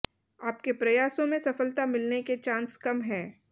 आपके प्रयासों में सफलता मिलने के चांस कम है